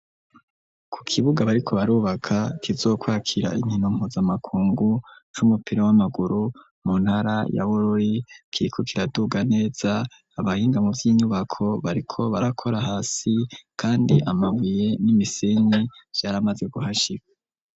Ku kibuga bariko barubaka kizokwakira inkino mpuzamakungu c'umupira w'amaguru mu ntara yabururi kikukira duga neza abahingamu by'inyubako bariko barakora hasi kandi amabuye n'imisenyi vyaramaze guhashika.